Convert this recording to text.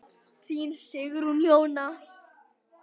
Þín Sigrún Jóna.